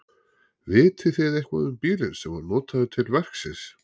Vitið þið eitthvað um bílinn sem var notaður til verksins?